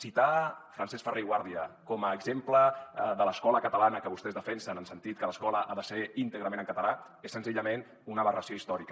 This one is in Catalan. citar francesc ferrer i guàrdia com a exemple de l’escola catalana que vostès defensen en el sentit que l’escola ha de ser íntegrament en català és senzillament una aberració històrica